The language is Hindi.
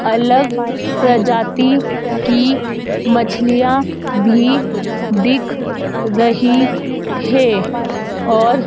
अलग प्रजाति की मछलियां भी दिख रही है और--